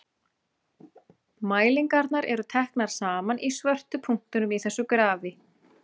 Mælingarnar eru teknar saman í svörtu punktunum í þessu grafi: